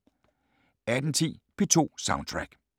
18:10: P2 Soundtrack